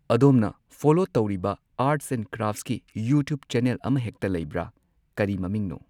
ꯑꯗꯣꯝꯅ ꯐꯣꯂꯣ ꯇꯧꯔꯤꯕ arts and ꯀ꯭ꯔꯥꯐꯁꯀꯤ ꯌꯨꯇ꯭ꯌꯨꯕ ꯆꯦꯅꯦꯜ ꯑꯃꯍꯦꯛꯇ ꯂꯩꯕ꯭ꯔ ꯀꯔꯤ ꯃꯃꯤꯡꯅꯣ